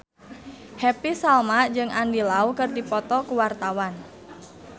Happy Salma jeung Andy Lau keur dipoto ku wartawan